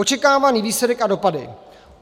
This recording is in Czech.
Očekávaný výsledek a dopady.